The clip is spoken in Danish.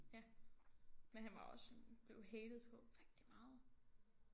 Ja men han var også blev hated på rigtig meget